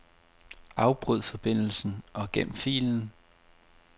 Afbryd forbindelsen og gem filen.